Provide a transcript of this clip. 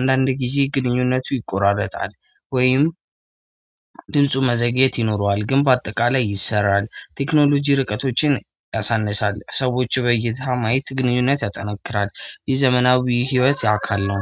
አንዳንድ ጊዜ ግንኙነቱ ይቆራረጣል። ወይም ድምፁ መዘግየት ይኖረዋል። ግን በአጠቃላይ ይሰራል። ቴክኖሎጂ ርቀቶችን ያሳንሳል። ሰዎች በእይታ ማየት ግንኙነት ያጠናክራል። የዘመናዊ ህይወት የአካል ነው።